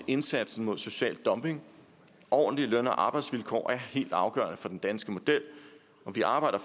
indsatsen mod social dumping ordentlige løn og arbejdsvilkår er helt afgørende for den danske model og vi arbejder